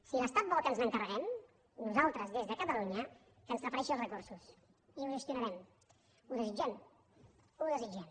si l’estat vol que ens n’encarreguem nosaltres des de catalunya que ens transfereixi els recursos i ho gestionarem ho desitgem ho desitgem